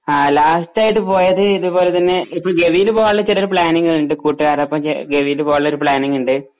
ആ ലാസ്റ്റായിട്ട് പോയത് ഇതുപോലെ തന്നെ ഇപ്പൊ ഗവിയിലു പോവാനുള്ള ചെറിയൊരു പ്ലാനിങ് ഉണ്ട് കൂട്ടുകാരോടൊപ്പം ഗവിയില് പോവാനുള്ളൊരു പ്ലാനിങ് ഉണ്ട്